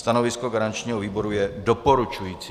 Stanovisko garančního výboru je doporučující.